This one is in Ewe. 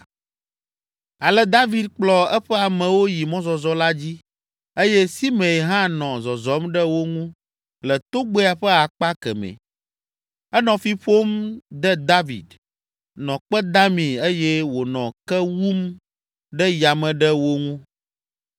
Ale David kplɔ eƒe amewo yi mɔzɔzɔ la dzi eye Simei hã nɔ zɔzɔm ɖe wo ŋu le togbɛa ƒe akpa kemɛ. Enɔ fi ƒom de David, nɔ kpe damii eye wònɔ ke wum ɖe yame ɖe wo ŋu.